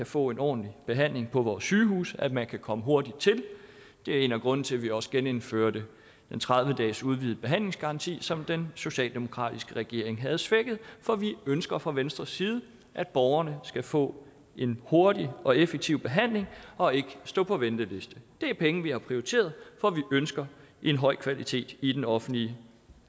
få en ordentlig behandling på vores sygehuse at man kan komme hurtigt til det er en af grundene til at vi også genindførte den tredive dages udvidede behandlingsgaranti som den socialdemokratiske regering havde svækket for vi ønsker fra venstres side at borgerne skal få en hurtig og effektiv behandling og ikke stå på venteliste det er penge vi har prioriteret for vi ønsker en høj kvalitet i den offentlige